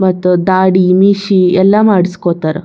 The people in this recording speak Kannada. ಮತ್ತೆ ದಾಡಿ ಮೀಶಿ ಎಲ್ಲಾ ಮಾಡ್ಸ್ಕೊತಾರ.